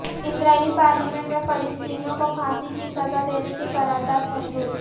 اسرائیلی parliament میں فلسطینیوں کو پھانسی کی سزا دینے کی قرارداد منظور